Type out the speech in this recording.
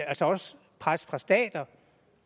altså også pres fra stater